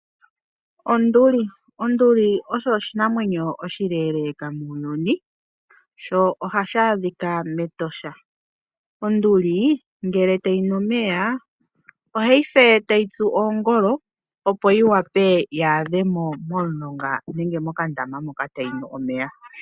Onduli osho oshinamwenyo oshileeleeka muuyuni, sho ohashi adhika mEtosha. Onduli ngele tayi nu omeya ohayi fe tayi tsu oongolo ,opo yi wape ya adhe mo momulonga nenge mokandama moka tayi nu omeya.